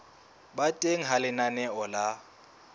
ba teng ha lenaneo la